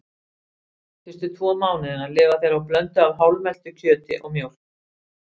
Fyrstu tvo mánuðina lifa þeir á blöndu af hálfmeltu kjöti og mjólk.